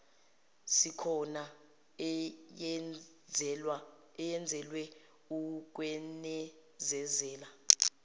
isikhona eyenzelwe ukwenezezela